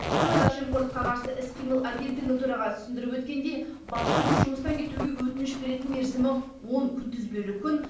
сыбайлас жемқорлыққа қарсы іс қимыл агенттігінің төрағасы түсіндіріп өткендей басшының жұмыстан кетуге өтініш беретін мерзімі он күнтізбелік күн